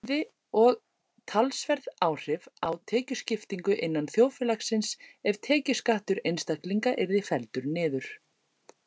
Það hefði og talsverð áhrif á tekjuskiptingu innan þjóðfélagsins ef tekjuskattur einstaklinga yrði felldur niður.